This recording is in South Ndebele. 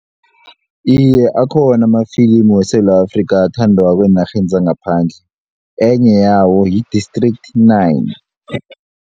Iye, akhona amafilimu weSewula Afrika athandwako eenarheni zangaphandle enye yawo yi-district nine.